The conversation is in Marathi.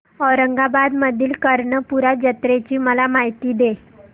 औरंगाबाद मधील कर्णपूरा जत्रेची मला माहिती दे